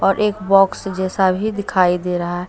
और एक बॉक्स जैसा भी दिखाई दे रहा--